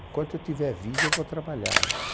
Enquanto eu tiver vida, eu vou trabalhar, meu anjo.